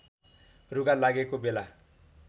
रुघा लागेको बेला